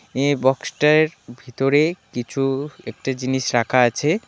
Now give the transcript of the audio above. এ বক্সটার ভিতরে কিছু একটা জিনিস রাখা আছে .